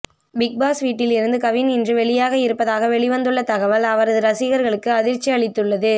big Boss வீட்டில் இருந்து கவின் இன்று வெளியாக இருப்பதாக வெளிவந்துள்ள தகவல் அவரது ரசிகர்களுக்கு அதிர்ச்சி அளித்துள்ளது